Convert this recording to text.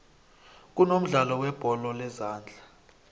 kunomdlalo webholo lezondla